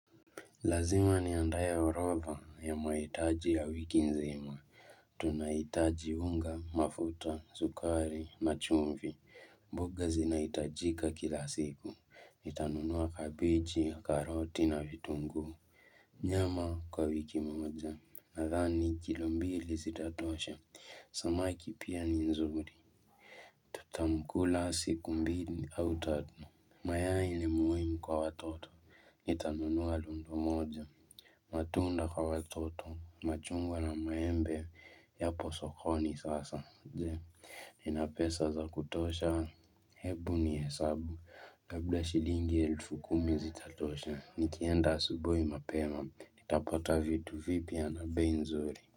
Lazima niandae orodha ya mahitaji ya wiki nzima. Tunahitaji unga, mafuta, sukari, na chumvi. Mboga zinahitajika kila siku. Nitanunua kabeji, karoti na vitunguu. Nyama kwa wiki moja. Nadhani kilo mbili zitatosha. Samaki pia ni nzuri. Tutamkula siku mbili au tatu. Mayai ni muhimu kwa watoto. Nitanunua lundu moja matunda kwa watoto machungwa na maembe yapo sokoni sasa Nina pesa za kutosha hebu nihesabu kabla shilingi elfu kumi zitatosha nikienda asubuhi mapema Nitapata vitu vipi na bei nzuri.